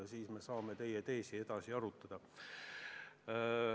Siis me saame teie teesi edasi arutada.